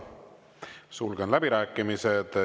Sulgen läbirääkimised.